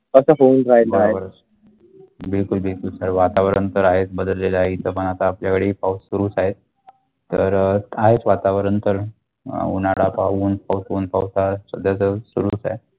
तसं होऊन राहील बरोबर बिलकुल बिलकुल तर वातावरण तर आहेत बदलले आहेत इथेपण आता आपल्या वडी पाऊस सुरू आहे तर वातावरण पण उन्हाळा पाहून पण पाऊस तसेत सुरू आहे.